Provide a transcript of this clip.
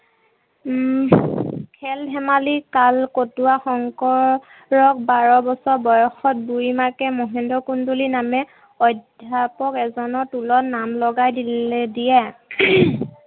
উম খেল ধেমালি কাল কটোৱা শংকৰক বাৰ বছৰ বয়সত বুঢ়ীমাকে মহেন্দ্ৰ কন্দলি নামে অধ্যাপক এজনৰ টোলত নাম লগাই দিলে দিয়ে।